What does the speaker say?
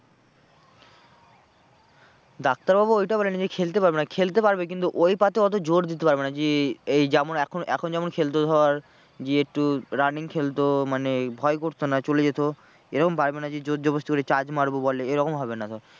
ডাক্তারবাবু ওইটা বলেনি যে খেলতে পারবে না খেলতে পারবে কিন্তু ওই পা তে অত জোর দিতে পারবে না যে এই যেমন এখন যেমন খেলতো ধর যে একটু running খেলতো মানে ভয় করতো না চলে যেত এরকম পারবে না যে জোর জবস্তি করে charge মারবো বল এ এরকম হবে না ধর।